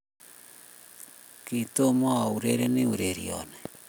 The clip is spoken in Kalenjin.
kitomo aurerenik ureriono .